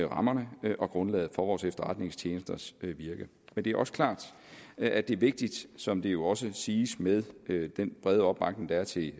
rammerne og grundlaget for vores efterretningstjenesters virke men det er også klart at det er vigtigt som det jo også siges med den brede opbakning der er til